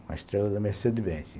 Uma estrela da Mercedes-Benz.